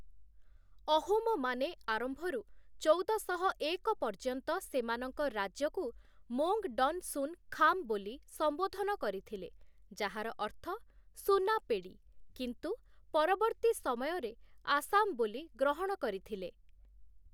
ଅହୋମମାନେ ଆରମ୍ଭରୁ ଚଉଦଶହ ଏକ ପର୍ଯ୍ୟନ୍ତ ସେମାନଙ୍କ ରାଜ୍ୟକୁ 'ମୋଙ୍ଗ୍‌ ଡନ୍ ଶୁନ୍ ଖାମ୍‌' ବୋଲି ସମ୍ବୋଧନ କରିଥିଲେ, ଯାହାର ଅର୍ଥ ସୁନା ପେଡ଼ି, କିନ୍ତୁ ପରବର୍ତ୍ତୀ ସମୟରେ 'ଆସାମ' ବୋଲି ଗ୍ରହଣ କରିଥିଲେ ।